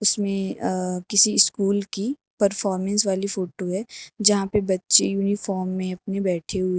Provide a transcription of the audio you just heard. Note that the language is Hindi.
इसमें अ किसी स्कूल की परफॉर्मेंस वाली फोटो है जहां पे बच्चे यूनिफॉर्म में अपनी बैठी हुई--